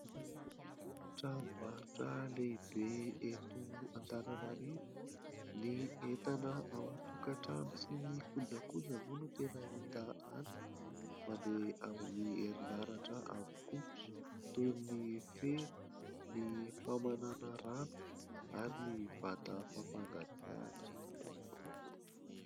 Tranombarotra lehibe eto Antananarivo. Ny entana ao an-tokatrano sy ny kojakoja moa no tena hita any, mandeha amin'ny herinaratra avokoa, toy ny fera, ny famanana rano ary ny vata fampangatsiahana.